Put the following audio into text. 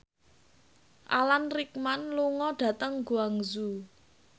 Alan Rickman lunga dhateng Guangzhou